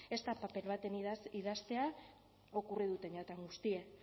ez da paper baten idaztea okurriduten jatan guztie